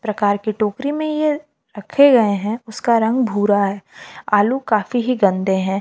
प्रकार की टोकरी में ये रखे गए हैं उसका रंग भूरा है आलू काफी ही गंदे हैं।